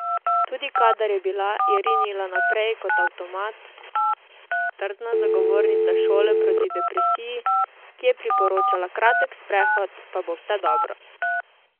Tudi kadar je bila, je rinila naprej kot avtomat, trdna zagovornica šole proti depresiji, ki je priporočala kratek sprehod, pa bo vse dobro.